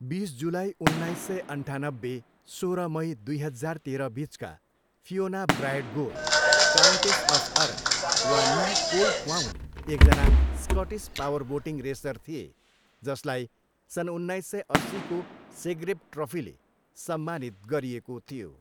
बिस जुलाई, उन्नाइस सय अन्ठानब्बे, सोह्र मई, दुई हजार तेह्रबिचका Fiona Bryde Gore, countess of Arran वा नी कोलक्वाउन एकजना स्कटिस पावरबोटिङ रेसर थिए जसलाई सन् उन्नाइस सय अस्सीको सेग्रेव ट्रफीले सम्मानित गरिएको थियो।